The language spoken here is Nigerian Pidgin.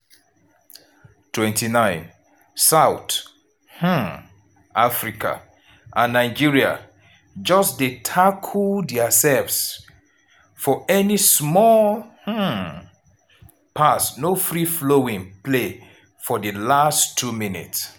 29' south um africa and nigeria just dey tackle diasefs for any small um pass no free flowing play for di last two minutes.